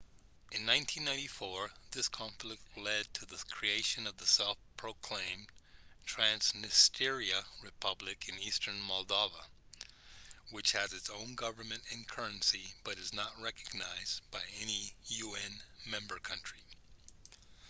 in 1994 this conflict led to the creation of the self-proclaimed transnistria republic in eastern moldova which has its own government and currency but is not recognised by any un member country